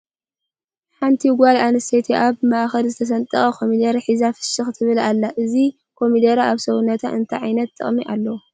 ሓንቲ ጋል ኣንስተይቲ ኣብ ማእከል ዝተሰንጠቀ ኮመደረ ሒዛ ፍሽክ ትብል ኣላ ። እዚ ኮመደረ ኣብ ሰውነትና እንታይ ጥቅሚ እለዎ ?